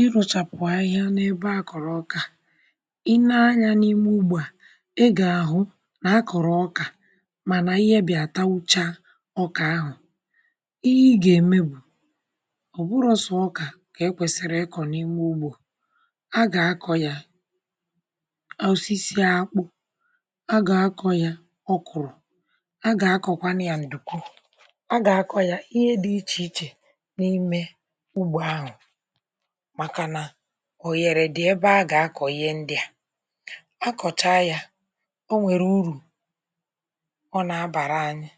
ị rụ̀chàpụ̀ ahịhịa n’ebe a kọ̀rọ̀ ọkà, i nee anyȧ n’ime ugbȯ à, ị gà-àhụ nà akọ̀rọ̀ ọkà, mànà ihe bị̀ àta ucha ọkà ahụ̀. ihe ị gà-ème bụ̀ ọ̀bụrọ̇sụ̀ ọkà kà e kwèsìrì ịkọ̀ n’ime ugbȯ. a gà-akọ̀ yà osisi akpụ̇, a gà-akọ̀ yà ọ kụ̀rụ̀, a gà-akọ̀kwanụ yà ǹdùkwu, a gà-akọ̀ yà ihe dị̇ ichè ichè, um màkà nà òyèrè dị̀ ebe a gà-akọ̀ye ndị a. akọ̀cha yȧ, o nwèrè urù ọ nà-abàra anyị,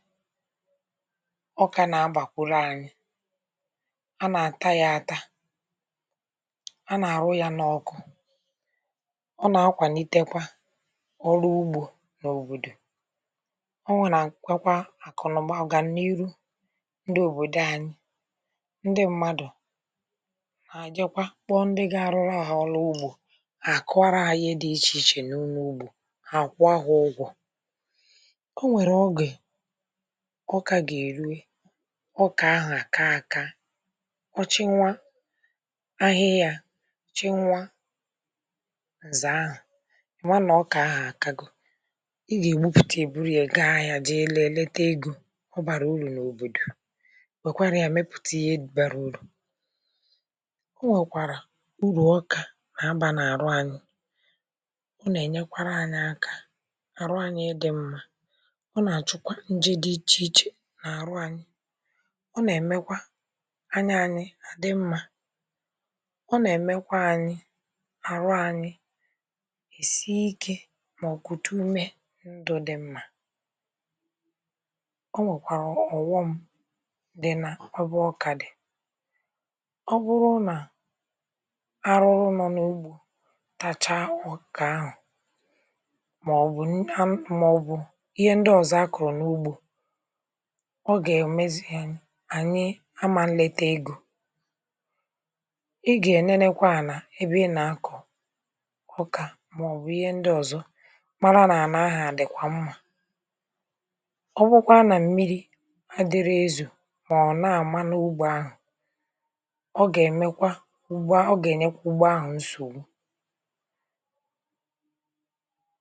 ọ kà nà-abàkwụrụ anyị. a nà-àta yȧ, ata, a nà-àrụ yȧ n’ọkụ, ọ nà-akwà n’itekwa ọrụ ugbȯ n’òbòdò. o nwèrè àkwọkwa àkụ̀nụ̀mà, ọ̀gà n’ihu ndị òbòdò anyị, nà-àjịkwa kpọ ndị ga-arụrụ agha ọlụ ugbȯ. àkụwara ahịhịa dị ichè ichè n’ụnọ̇ ugbȯ ha àkwa ahụ̀ ụgwọ̇. ọ nwèrè ogè ọkà gà-èrue, ọkà ahụ̀ àka aka, ọ chịnwa ahịhịa, chịnwa nzà ahụ̀, ị̀nwa nà ọkà ahụ̀ àkà gụ̀. ị gà-ègbupùtà, èburu yȧ gaa ahịa, jị elu èleta egȯ. ọ bàrà urù n’òbòdò, o nwèkwàrà urù ọkà na-abà n’àrụ anyị̇, ọ nà-ènyekwara anyị̇ akȧ n’àrụ anyị̇ idi mmȧ, ọ nà-àchụkwa ǹjị dị ichè ichè n’àrụ anyị̇, ọ nà-èmekwa anyị̇ àdị mmȧ, o nà-èmekwa anyị̇ àrụ anyị̇ èsie ikė mà ọ̀kwụ̀ta ume ndụ̇ dị mmȧ. o nwèkwàrà ọ̀ghọm dị nà ọbụ ọkà dị̀; ọ bụrụ nà arụrụ nọ n’ugbȯ tacha ọ̀kà ahụ̀, màọ̀bụ̀ ihe ndị ọ̀zọ a kụ̀rụ̀ n’ugbȯ, ọ gà-èmezi hȧ. ànyị amà nleta egȯ, ị gà-ènyerekwa à nà ebe ị nà akụ̀ ọkà, màọ̀bụ̀ ihe ndị ọ̀zọ, mara nà ànà ahụ̀ à dị̀kwà mmȧ. ọ bụkwa nà mmiri̇ adịrị ezù, màọ̀bụ̀ na-àma n’ugbȯ ahụ̀, ụgbụ̀a ọ gà-ènyekwa ụgbụ ahụ̀ nsò.